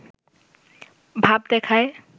ভাব দেখায়